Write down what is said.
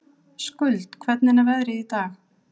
Skuld, hvernig er veðrið í dag?